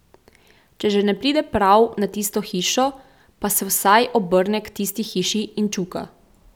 Če že ne pride prav na tisto hišo, pa se vsaj obrne k tisti hiši in čuka.